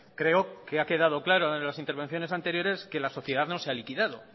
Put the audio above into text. creo que ha quedado claro en las intervenciones anteriores que la sociedad no se ha liquidado